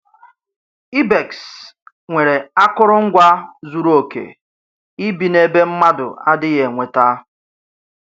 Ibex nwere akụrụngwa zuru oke ibi n’ebe mmadụ adịghị enweta.